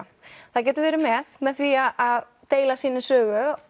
það getur verið með með því að deila sinni sögu